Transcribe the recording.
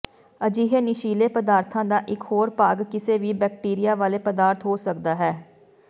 ਅਜਿਹੇ ਨਸ਼ੀਲੇ ਪਦਾਰਥਾਂ ਦਾ ਇੱਕ ਹੋਰ ਭਾਗ ਕਿਸੇ ਵੀ ਬੈਕਟੀਰੀਆ ਵਾਲੇ ਪਦਾਰਥ ਹੋ ਸਕਦਾ ਹੈ